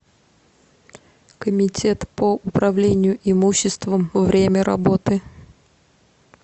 комитет по управлению имуществом время работы